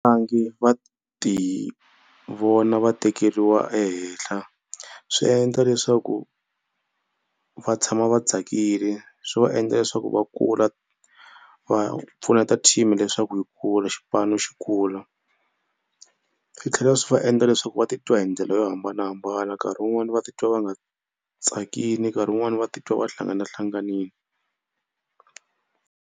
va ti vona va tekeriwa ehehla swi endla leswaku va tshama va tsakile. Swi va endla leswaku va kula va pfuneta team leyi leswaku yi kula xipano xi kula. Swi tlhela swi va endla leswaku va titwa hi ndlela yo hambanahambana nkarhi wun'wani va titwa va nga tsakini nkarhi wun'wani va titwa va hlanganahlanganile.